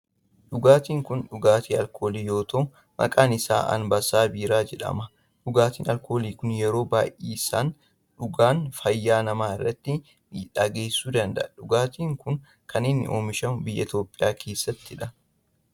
Dhugaatin kun dhugaatii alkoolii yoo ta'u maqaan isaa Anbassaa biiraa jedhama. Dhugaatin alkoolii kun yeroo baayyisanii dhugan fayyaa nama irratti miidhaa geessisuu danda'a. Dhugaatin kun kan inni oomishamu biyya Itiyoophiyaa keessattidha.